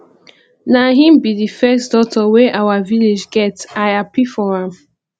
na him be the first doctor wey our village get i happy for am